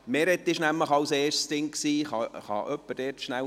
Meret Schindler war als Erste auf der Liste.